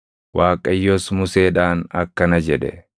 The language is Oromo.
Waaqayyos Museedhaan akkana jedhe;